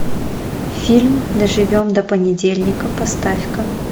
фильм доживем до понедельника поставь ка